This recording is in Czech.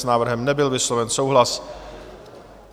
S návrhem nebyl vysloven souhlas.